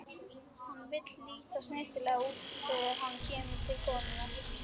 Hann vill líta snyrtilega út þegar hann kemur til konunnar.